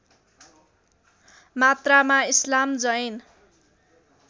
मात्रामा इस्लाम जैन